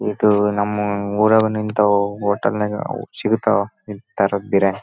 ಇದು ನಮ್ಮ ಉರಗ ನಿಂತವು ಹೋಟೆಲ್ ನ್ಯಾಗ್ ಸಿಗತ್ವ ಈ ತರದ ಬಿರಿಯಾನಿ--